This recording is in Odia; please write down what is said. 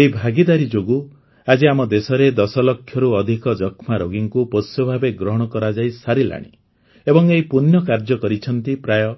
ଏହି ଭାଗୀଦାରୀ ଯୋଗୁଁ ଆଜି ଆମ ଦେଶରେ ୧୦ ଲକ୍ଷରୁ ଅଧିକ ଯକ୍ଷ୍ମା ରୋଗୀଙ୍କୁ ପୋଷ୍ୟ ଭାବେ ଗ୍ରହଣ କରାଯାଇସାରିଲାଣି ଏବଂ ଏହି ପୂଣ୍ୟ କାର୍ଯ୍ୟ କରିଛନ୍ତି ପ୍ରାୟଃ